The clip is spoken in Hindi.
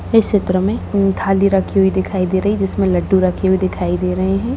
इस चित्र में थाली रखी हुई दिखाई दे रही है जिसमे लड्डू रखे हुए दिखाई दे रहे है।